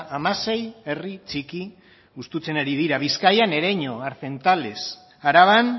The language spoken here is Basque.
hamasei herri txiki hustutzen ari dira bizkaian ereño arzentales araban